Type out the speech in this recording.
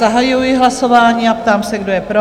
Zahajuji hlasování a ptám se, kdo je pro?